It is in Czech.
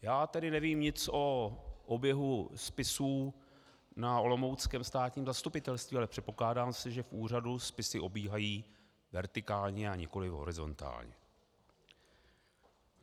Já tedy nevím nic o oběhu spisů na olomouckém státním zastupitelství, ale předpokládá se, že v úřadu spisy obíhají vertikálně a nikoliv horizontálně.